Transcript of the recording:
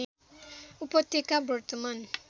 उपत्यका वर्तमान